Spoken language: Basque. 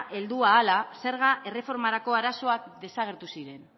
heldu ahala zerga erreformarako arazoak desagertu ziren